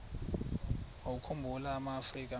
wawakhumbul amaafrika mini